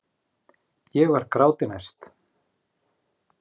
Ég var gráti nær.